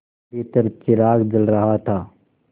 भीतर चिराग जल रहा था